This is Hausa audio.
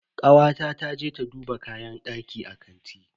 Kawata ta je ta duba kayan daki a kanti.